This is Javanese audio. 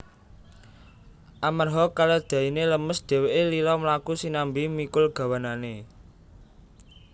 Amarha keledaine lemes dheweke lila mlaku sinambi mikul gawanane